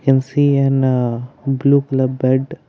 You see an blue colour bed.